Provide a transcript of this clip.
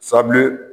Sabilen